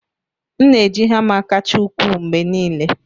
M na-eji hama kacha ukwuu mgbe niile.